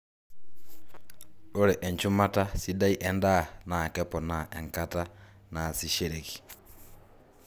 ore enchumata sidai endaa naa keponaa enkata naasishreki